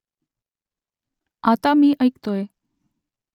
आता मी ऐकतोय